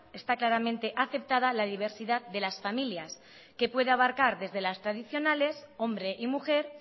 esta claramente aceptada la diversidad de las familias que puede abarcar desde las tradicionales hombre y mujer